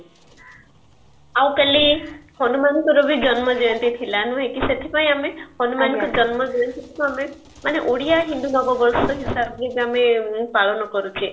ଆଉ କାଲୀ ହନୁମାନଙ୍କର ବି ଜନ୍ମ ଜୟନ୍ତୀ ଥିଲା ନୁହେ କି ସେଥିପାଇଜ ଆମେ ହନୁମାନଙ୍କ ଜନ୍ମ ଜୟନ୍ତୀ କୁ ଆମେ ମାନେ ଓଡିଆ ହିନ୍ଦୁ ନବ ବର୍ଷ ହିସାବରେ ବି ଆମେ ପାଳନ କରୁଛେ